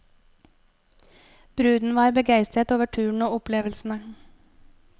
Bruden var begeistret over turen og opplevelsene.